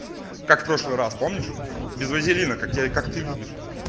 как прошлый раз помнишь без вазелина как тебя как ты любишь